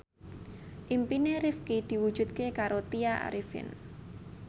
impine Rifqi diwujudke karo Tya Arifin